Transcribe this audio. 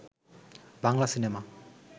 Bangla cinema